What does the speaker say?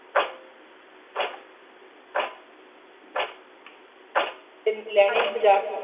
ਲੈਣੀ ਬਾਜ਼ਾਰ ਤੋਂ